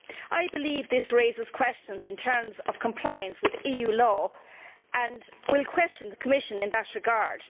I believe this raises questions in terms of compliance with EU law, and I will question the Commission in that regard.